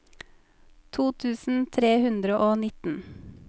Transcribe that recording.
to tusen tre hundre og nitten